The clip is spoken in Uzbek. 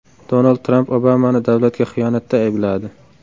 Donald Tramp Obamani davlatga xiyonatda aybladi.